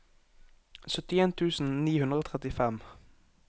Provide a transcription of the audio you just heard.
syttien tusen ni hundre og trettifem